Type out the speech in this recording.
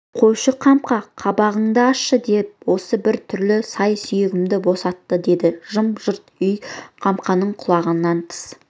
қойшы қамқа қабағыңды ашшы деп осы бір түрлі сай-сүйегімді босатты деді жым-жырт үйде қамқаның құлағына тыс